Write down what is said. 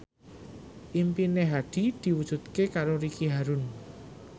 impine Hadi diwujudke karo Ricky Harun